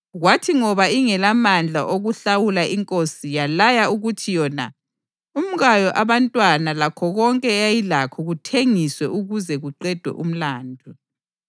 Kwathi ngoba ingelamandla okuhlawula inkosi yalaya ukuthi yona, umkayo, abantwana lakho konke eyayilakho kuthengiswe ukuze kuqedwe umlandu.